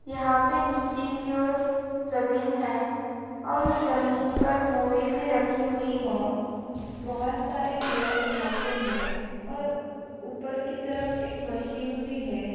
यहाँ पे नीचे की ओर जमीन है और वो जमीन पर बोरी भी रखी हुई है बहुत सारे लोग वहाँ पे हैं और ऊपर की तरफ एक मशीन भी है।